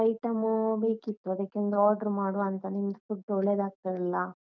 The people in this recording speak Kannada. Item ಬೇಕಿತ್ತು, ಅದಕ್ಕೆ ಒಂದು order ಮಾಡುವ ಅಂತ ನಿಮ್ದು food ಒಳ್ಳೆದಾಗ್ತದಲ್ಲ.